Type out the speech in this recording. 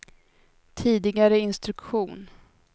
tidigare instruktion